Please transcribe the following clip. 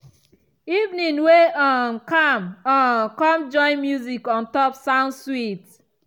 evening way um calm um come join music on top sound sweet.